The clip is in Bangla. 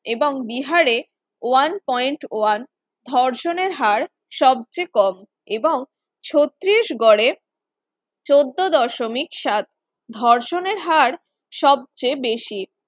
এবং বিহারে one point one ধর্ষণের হার সবচেয়ে কম এবং ছত্রিশগড়ে চোদ্দ দশমিক সাত ধর্ষণের হার সবচেয়ে বেশি